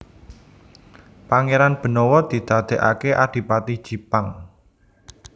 Pangéran Benawa didadèkaké Adipati Jipang